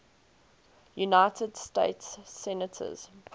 united states senators